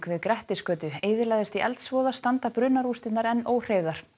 við Grettisgötu eyðilagðist í eldsvoða standa brunarústirnar enn óhreyfðar